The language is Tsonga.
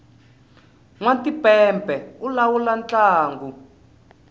nwa timpepe u lawula ntlangu